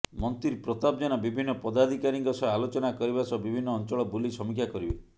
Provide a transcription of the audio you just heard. ମନ୍ତ୍ରୀ ପ୍ରତାପ ଜେନା ବିଭିନ୍ନ ପଦାଧିକାରୀଙ୍କ ସହ ଆଲୋଚନା କରିବା ସହ ବିଭିନ୍ନ ଅଞ୍ଚଳ ବୁଲି ସମୀକ୍ଷା କରିବେ